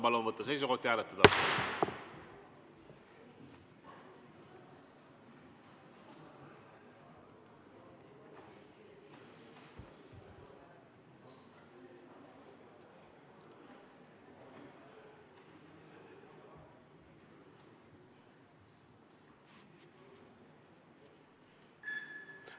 Palun võtta seisukoht ja hääletada!